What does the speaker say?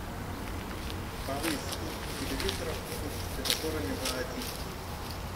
повысь звук у телевизора в комнате с тренажерами на один